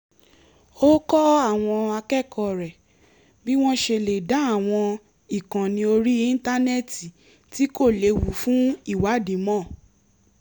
ó kọ́ àwọn akẹ́kọ̀ọ́ rẹ̀ bí wọ́n ṣe lè dá àwọn ìkànnì orí íńtánẹ́ẹ̀tì tí kò léwu fún ìwádìí mọ̀